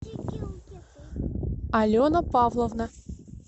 алена павловна